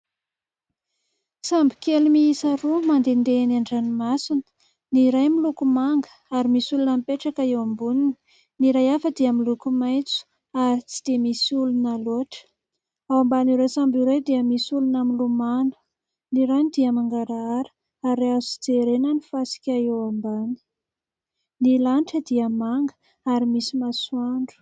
Sambo kely miisa roa mandehandeha eny an-dranomasina : ny iray miloko manga ary misy olona mipetraka eo amboniny, ny iray hafa dia miloko maitso ary tsy dia misy olona loatra. Ao ambanin'ireo sambo ireo dia misy olona milomano. Ny rano dia mangarahara ary azo jerena ny fasika eo ambany. Ny lanitra dia manga ary misy masoandro.